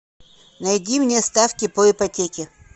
найди мне ставки по ипотеке